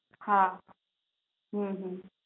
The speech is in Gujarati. હા હમ